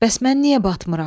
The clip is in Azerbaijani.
Bəs mən niyə batmıram?